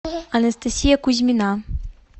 анастасия кузьмина